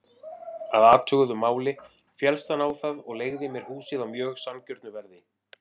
Að athuguðu máli féllst hann á það og leigði mér húsið á mjög sanngjörnu verði.